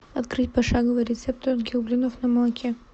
открыть пошаговый рецепт тонких блинов на молоке